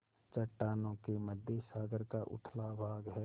चट्टानों के मध्य सागर का उथला भाग है